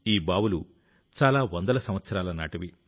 ఈ బావులు చాలా వందల సంవత్సరాల నాటివి